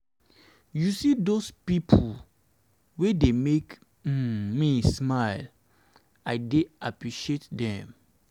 you see dose you see dose pipo wey dey make um me smile i dey appreciate dem. um